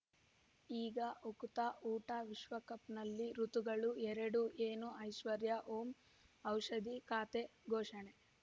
ಈಗ ಉಕುತ ಊಟ ವಿಶ್ವಕಪ್‌ನಲ್ಲಿ ಋತುಗಳು ಎರಡು ಏನು ಐಶ್ವರ್ಯಾ ಓಂ ಔಷಧಿ ಖಾತೆ ಘೋಷಣೆ